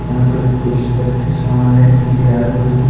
यहाँ पे कुछ व्यक्ति सामान लेने के लिए आए हुए हैं।